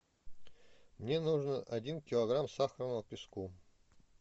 мне нужно один килограмм сахарного песку